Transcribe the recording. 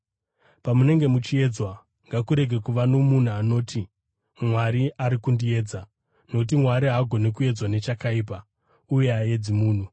Pamunenge muchiedzwa, ngakurege kuva nomunhu anoti, “Mwari ari kundiedza.” Nokuti Mwari haagoni kuedzwa nechakaipa, uye haaedzi munhu;